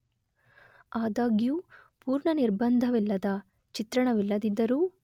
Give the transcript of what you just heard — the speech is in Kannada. ಆದಾಗ್ಯೂ ಪೂರ್ಣ ನಿರ್ಬಂಧವಿಲ್ಲದ ಚಿತ್ರಣವಿಲ್ಲದಿದ್ದರೂ